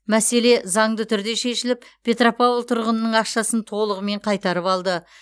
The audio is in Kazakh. мәселе заңды түрде шешіліп петропавл тұрғынының ақшасын толығымен қайтарып алды